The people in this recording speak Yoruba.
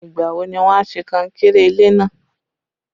Ìgbà wo ni wọn a ṣe kankéré ilé náà?